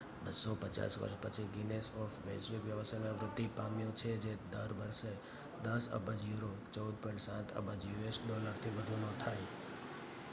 250 વર્ષ પછી ગિનીસ એક વૈશ્વિક વ્યવસાયમાં વૃદ્ધિ પામ્યો છે જે દર વર્ષે 10 અબજ યુરો 14.7 અબજ યુએસ ડોલર થી વધુનો થાય